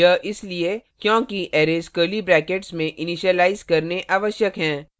यह इसलिए क्योंकि arrays curly brackets में इनिशलाइज करने आवश्यक हैं